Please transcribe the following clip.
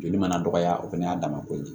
Joli mana dɔgɔya o fɛnɛ y'a dama ko ye